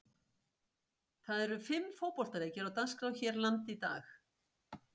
Það eru fimm fótboltaleikir á dagskrá hér landi í dag.